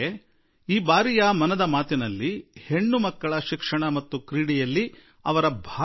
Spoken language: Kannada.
ರಿಯೋ ಒಲಿಂಪಿಕ್ಸ್ ನಲ್ಲಿ ಪದಕ ಗೆದ್ದುಕೊಂಡು ಹೆಣ್ಣು ಮಕ್ಕಳು ದೇಶಕ್ಕೆ ಗೌರವ